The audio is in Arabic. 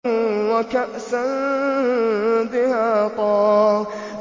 وَكَأْسًا دِهَاقًا